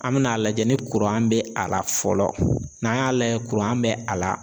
An be n'a lajɛ ni be a la fɔlɔ, n'an y'a lajɛ be a la